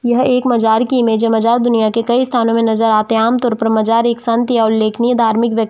यह एक मजार की इमेज है मजार दुनिया की कई स्थानो मे नजर आते है आम तौर पर मजार एक संत या उल्लेखनिय धार्मिक व्यक्ति --